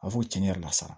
A b'a fɔ tiɲɛni yɛrɛ la sa